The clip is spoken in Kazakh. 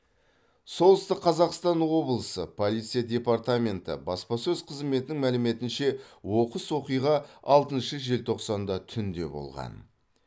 солтүстік қазақстан облысы полиция департаменті баспасөз қызметінің мәліметінше оқыс оқиға алтыншы желтоқсанда түнде болған